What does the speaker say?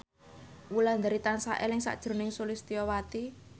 Wulandari tansah eling sakjroning Sulistyowati